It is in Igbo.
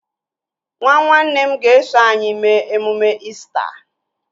Nwa nwanne m ga-eso anyị mee emume İsita